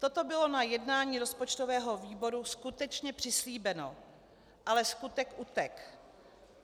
Toto bylo na jednání rozpočtového výboru skutečně přislíbeno, ale skutek utek.